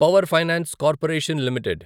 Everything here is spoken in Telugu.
power finance corporation limited